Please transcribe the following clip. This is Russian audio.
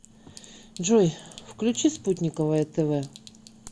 джой включи спутниковое тэ вэ